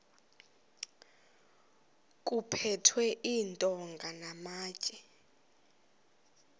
kuphethwe iintonga namatye